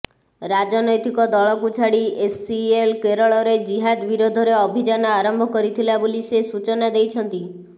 ରାଜନୈତିକ ଦଳକୁ ଛାଡି ଏସିଏଲ କେରଳରେ ଜିହାଦ ବିରୋଧରେ ଅଭିଯାନ ଆରମ୍ଭ କରିଥିଲା ବୋଲି ସେ ସୂଚନା ଦେଇଛନ୍ତି